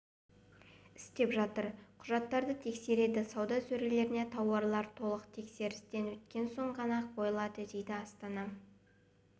істеп жатыр құжаттарды тексереді сауда сөрелеріне тауарлар толық тексерістен өткеннен соң ғана қойылады дейді астана